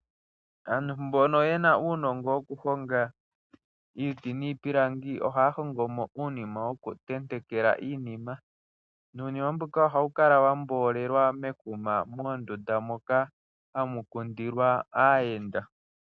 Ano mbono yena uunongo wokuhonga iiti niipilangi oha ya hongo mo uunima wokutentekela iinima. Nuunima mboka ohawu kala wa mboolelwa mekuma mondunda moka hamu kundilwa aayenda.